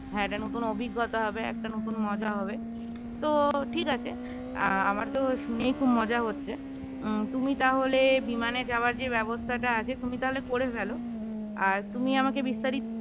হ্যাঁ একটা নতুন অভিজ্ঞতা হবে একটা নতুন মজা হবে তো ঠিক আছে আহ আমার তো শুনে খুব মজা হচ্ছে উম তুমি তাহলে বিমানে যাওয়ার যে ব্যবস্থাটা আছে তুমি তাহলে করে ফেলো আর তুমি আমাকে বিস্তারিত